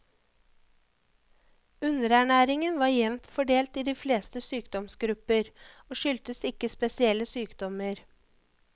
Underernæringen var jevnt fordelt i de fleste sykdomsgrupper, og skyldtes ikke spesielle sykdommer.